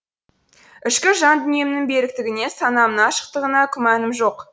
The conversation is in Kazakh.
ішкі жан дүниемнің беріктігіне санамның ашықтығына күмәнім жоқ